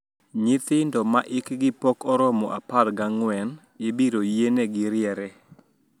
Nyithindo ma hikgi pok oromo apar gi ang`wen ibiro yienegi riere